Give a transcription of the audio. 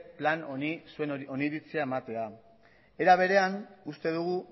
plan honi zuen oniritzia ematea era berean uste dugu